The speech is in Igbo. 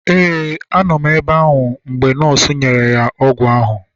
Ee, a nọ m ebe ahụ mgbe nọọsụ nyere ya ọgwụ ahụ